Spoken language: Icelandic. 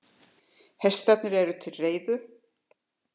Hestarnir eru til reiðu.